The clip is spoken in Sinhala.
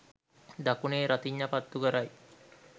දකුණේ රතිඤ්ඤා පත්තු කරයි